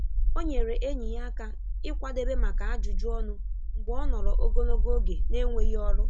O nyere enyi ya aka ịkwadebe maka ajụjụ ọnụ mgbe o nọrọ ogologo oge na-enweghị ọrụ.